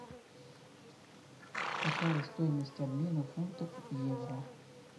какая стоимость обмена фунтов евро